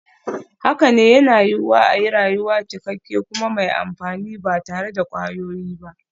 Haka ne, yana yiwuwa a yi rayuwa cikakke kuma mai amfani ba tare da kwayoyi ba.